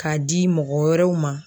K'a di mɔgɔ wɛrɛw ma.